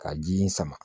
Ka ji in sama